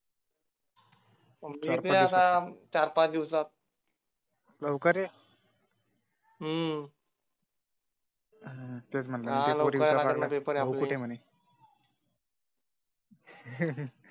मी येतोय आता चार पाच दिवसात. लवकर ये. हम्म तेच म्हटलं त्या पोरी विचारायला लागल्या भाऊ कुठे आहे म्हणे